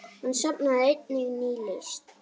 Hann safnaði einnig nýlist.